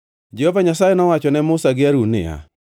Jehova Nyasaye nowacho ne Musa gi Harun niya,